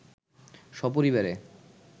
স্বপরিবারে